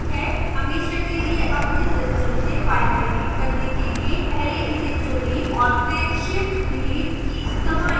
हमेशा के लिए अपने system से file shift करने के लिए पहले इसे चुनें और फिर shift + delete कीज दबाएं